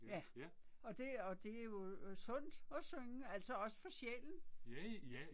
Ja. Og det og det jo øh sundt at synge altså også for sjælen